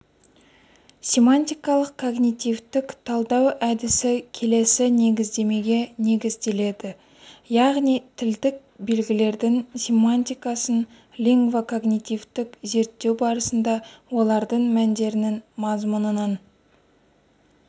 семантикалық-когнитивтік талдау әдісі келесі негіздемеге негізделеді яғни тілдік белгілердің семантикасын лингво-когнитивтік зерттеу барысында олардың мәндерінің мазмұнынан